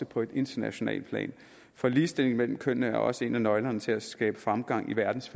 på et internationalt plan for ligestilling mellem kønnene er også en af nøglerne til at skabe fremgang i verdens